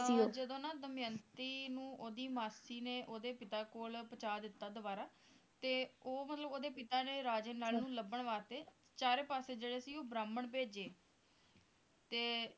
ਜਦੋਂ ਨਾ ਦਮਯੰਤੀ ਨੂੰ ਉਹਦੀ ਮਾਸੀ ਨੇ ਓਹਦੇ ਪਿਤਾ ਕੋਲ ਪਹੁੰਚਾ ਦਿੱਤਾ ਦੁਬਾਰਾ ਤੇ ਉਹ ਮਤਲਬ ਓਹਦੇ ਪਿਤਾ ਨੇ ਰਾਜੇ ਨਲ ਨੂੰ ਲੱਭਣ ਵਾਸਤੇ ਚਾਰੇ ਪਾਸੇ ਜਿਹੜੇ ਸੀ ਉਹ ਬ੍ਰਾਹਮਣ ਭੇਜੇ ਤੇ